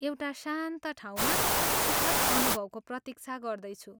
एउटा शान्त ठाउँमा सुखद अनुभवको प्रतीक्षा गर्दैछु।